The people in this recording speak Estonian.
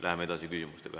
Läheme edasi küsimustega.